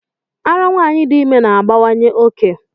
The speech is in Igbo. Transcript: Árá nwanyị dị ime na-abawanye oke.